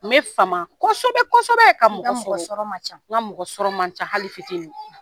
Me fama kosɛbɛ kosɛbɛ ka mɔgɔ sɔrɔ; i ka mɔgɔ sɔrɔ man ca; N ka mɔgɔ sɔrɔ man ca hali fitinin.